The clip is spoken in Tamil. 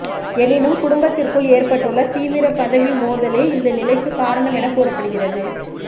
எனினும் குடும்பத்திற்குள் ஏற்பட்டுள்ள தீவிர பதவி மோதலே இந்த நிலைக்கு காரணம் என கூறப்படுகிறது